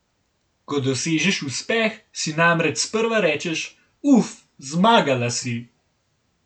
Ko dosežeš uspeh, si namreč sprva rečeš: "Uf, zmagala si.